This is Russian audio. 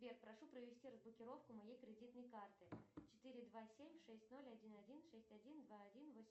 сбер прошу провести разблокировку моей кредитной карты четыре два семь шесть ноль один один шесть один два один восемь